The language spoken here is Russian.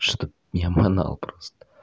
чтоб я манал просто